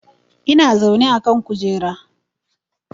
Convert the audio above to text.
Ina zaune a kan kujera